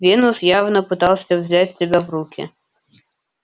венус явно пытался взять себя в руки